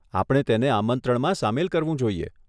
આપણે તેને આમંત્રણમાં સામેલ કરવું જોઈએ.